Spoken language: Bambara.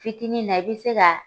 Fitini na i bi se ka